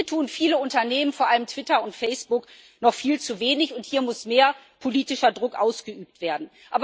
Und hier tun viele Unternehmen, vor allem Twitter und Facebook, noch viel zu wenig, und hier muss mehr politischer Druck ausgeübt werden.